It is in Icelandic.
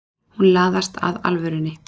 Hún laðast að alvörunni.